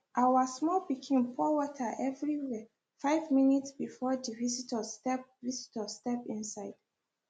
our small pikin pour water everywhere five minutes before the visitors step visitors step inside